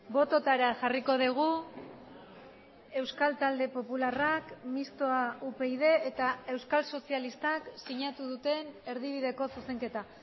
bototara jarriko dugu euskal talde popularrak mistoa upyd eta euskal sozialistak sinatu duten erdibideko zuzenketa